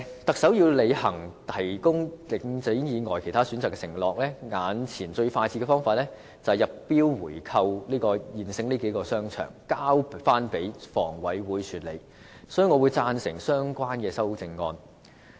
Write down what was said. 特首要履行"提供領展以外其他選擇"的承諾，眼前最快捷的方法是入標購回這數個現有商場，交回香港房屋委員會管理，所以我會贊成相關的修正案。